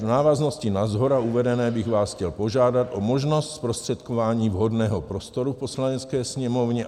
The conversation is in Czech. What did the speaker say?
V návaznosti na shora uvedené bych vás chtěl požádat o možnost zprostředkování vhodného prostoru v Poslanecké sněmovně."